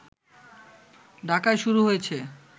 ঢাকায় শুরু হয়েছে